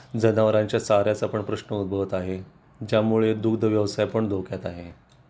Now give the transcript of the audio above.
जनावरांच्या चाऱ्याचा पण प्रश्न उद्भवत आहे ज्यामुळे दूध व्यवसाय पण धोक्यात आहे